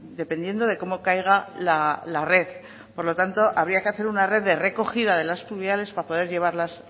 dependiendo de cómo caiga la red por lo tanto habría que hacer una red de recogida de las pluviales para poder llevarlas